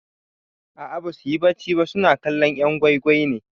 A'a basuyi bacci ba suna kallon 'yan gwai gwai ne.